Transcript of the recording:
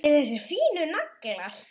Allir þessir fínu naglar!